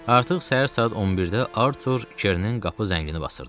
Artıq səhər saat 11-də Artur Kernin qapı zəngini basırdı.